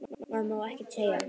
Maður má ekkert segja.